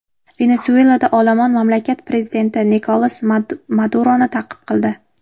Venesuelada olomon mamlakat prezidenti Nikolas Maduroni ta’qib qildi.